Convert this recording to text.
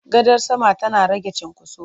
Gadar sama tana rage cinkoso.